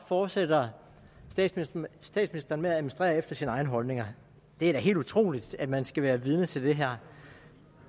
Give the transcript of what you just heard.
fortsætter statsministeren med at administrere efter sine egne holdninger det er da helt utroligt at man skal være vidne til det her